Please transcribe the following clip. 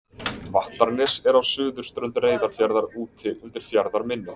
Vattarnes er á suðurströnd Reyðarfjarðar úti undir fjarðarmynni.